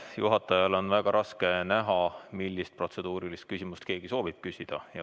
Juhatajal on väga raske näha, millist protseduurilist küsimust keegi soovib küsida.